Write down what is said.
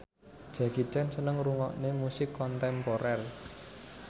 Jackie Chan seneng ngrungokne musik kontemporer